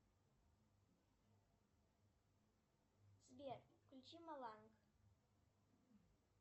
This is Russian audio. сбер включи моланг